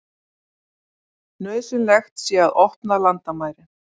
Nauðsynlegt sé að opna landamærin